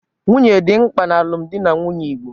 Nwunye dị mkpa n'alụmdi na nwunye igbo